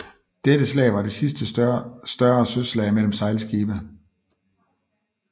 Dette slag var det sidste større søslag mellem sejlskibe